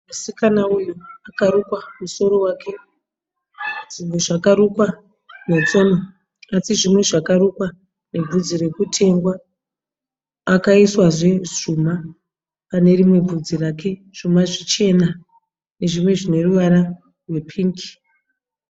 Musikana uyu akarukwa musoro wake. Zvinhu zvakarukwa netsono asi zvimwe zvakarukwa nevhudzi rekutengwa. Akaiswazve zvuma pane rimwe vhudzi rake zvuma zvichena nezvimwe zvine ruvara rwepingi.